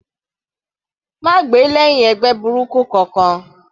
Má gbè lẹ́hìn ẹgbẹ́ burúkú kankan.